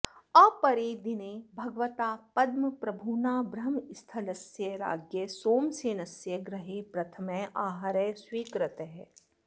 अपरे दिने भगवता पद्मप्रभुना ब्रह्मस्थलस्य राज्ञः सोमसेनस्य गृहे प्रथमः आहारः स्वीकृतः